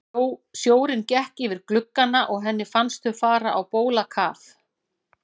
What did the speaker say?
Sjórinn gekk yfir gluggana og henni fannst þau fara á bólakaf.